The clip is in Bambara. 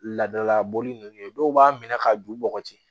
Ladala bɔli nunnu ye dɔw b'a minɛ ka don u bɔgɔti